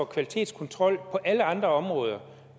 kvalitetskontrol på alle andre områder